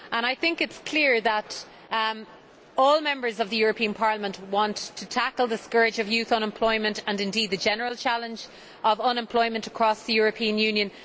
It is clear that all Members of the European Parliament want to tackle the scourge of youth unemployment and indeed the general challenge of unemployment across the European Union.